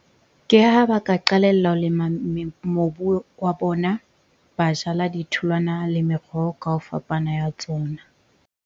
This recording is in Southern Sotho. Ke ha ba ka qalella ho lema mobu wa bona. Ba jala ditholwana le meroho ka o fapana ya tsona.